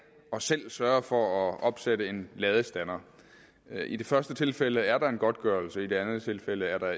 og selv sørge for at opsætte en ladestander i det første tilfælde er der en godtgørelse i det andet tilfælde er der